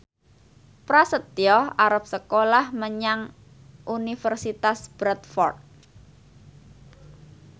Prasetyo arep sekolah menyang Universitas Bradford